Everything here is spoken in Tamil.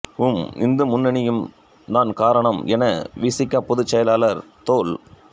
வும் இந்து முன்னணியும் தான் காரணம் என வி சி க பொதுச் செயலர் தொல்